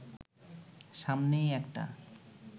সামনেই একটা